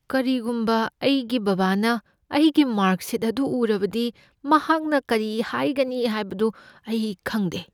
ꯀꯔꯤꯒꯨꯝꯕ ꯑꯩꯒꯤ ꯕꯥꯕꯥꯅ ꯑꯩꯒꯤ ꯃꯥꯔꯛ ꯁꯤꯠ ꯑꯗꯨ ꯎꯔꯕꯗꯤ, ꯃꯍꯥꯛꯅ ꯀꯔꯤ ꯍꯥꯏꯒꯅꯤ ꯍꯥꯏꯕꯗꯨ ꯑꯩ ꯈꯪꯗꯦ꯫